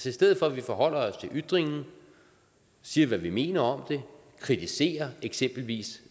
i stedet for at vi forholder os til ytringen og siger hvad vi mener om den og kritiserer eksempelvis